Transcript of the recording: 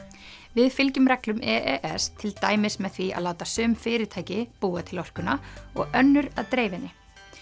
við fylgjum reglum e e s til dæmis með því að láta sum fyrirtæki búa til orkuna og önnur að dreifa henni